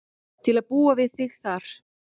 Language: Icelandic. Til að búa við þig þar.